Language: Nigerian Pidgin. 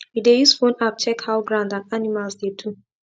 we dey use phone app check how ground and animals dey do